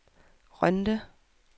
Rønde